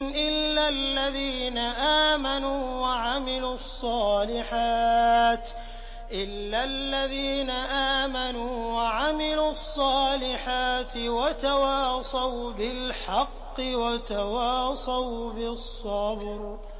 إِلَّا الَّذِينَ آمَنُوا وَعَمِلُوا الصَّالِحَاتِ وَتَوَاصَوْا بِالْحَقِّ وَتَوَاصَوْا بِالصَّبْرِ